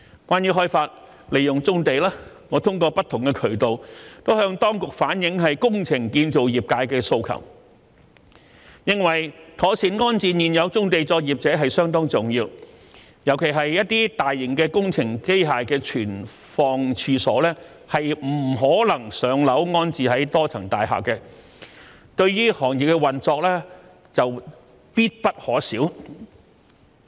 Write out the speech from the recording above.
關於開發利用棕地，我通過不同渠道向當局反映工程建造業界的訴求，認為妥善安置現有棕地作業者相當重要，尤其是一些大型工程機械的存放處所不可能"上樓"安置在多層大廈，但對於行業的運作卻必不可少。